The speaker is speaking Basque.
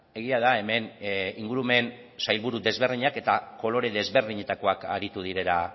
egia da hemen ingurumen sailburu desberdinak eta kolore desberdinetakoak aritu direla